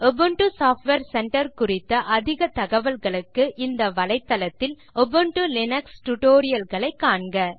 Ubuntu software centre குறித்த அதிக தகவல்களுக்கு இந்த வலைத்தளத்தில் உபுண்டு லினக்ஸ் டியூட்டோரியல் களை காண்க